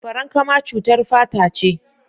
Farankama cutar fata ce.